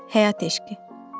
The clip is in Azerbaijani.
Həyat eşqi.